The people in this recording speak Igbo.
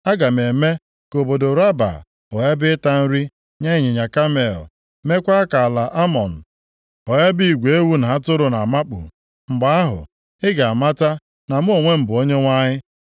Aga m eme ka obodo Raba ghọọ ebe ịta nri nye ịnyịnya kamel, meekwa ka ala Amọn ghọọ ebe igwe ewu na atụrụ na-amakpu. Mgbe ahụ, ị ga-amata na mụ onwe m bụ Onyenwe anyị.